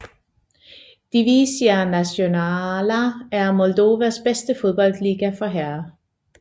Divizia Națională er Moldovas bedste fodboldliga for herrer